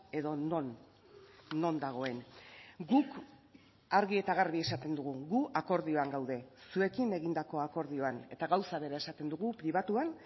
edo non non dagoen guk argi eta garbi esaten dugu gu akordioan gaude zuekin egindako akordioan eta gauza bera esaten dugu pribatuan